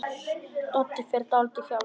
Doddi fer dálítið hjá sér.